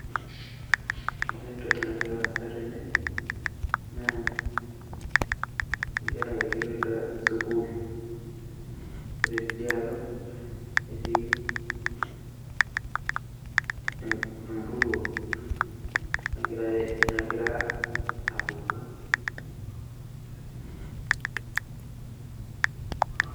Ore entoki nagira aasa tene, naa inkera erikitoi sukuul. Ore tidialo, netii empuruo nagira apuku.